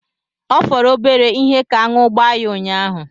Ọ fọrọ obere ihe ka aṅụ gbaa ya unyaahụ.